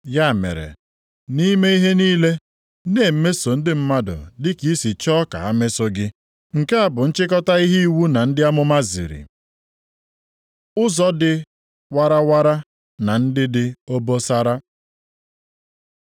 Ya mere, nʼime ihe niile, na-emeso ndị mmadụ dị ka i si chọọ ka ha mesoo gị. Nke a bụ nchịkọta ihe iwu na ndị amụma ziri. Ụzọ dị warawara na ndị dị obosara